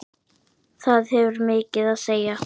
Það hefur mikið að segja.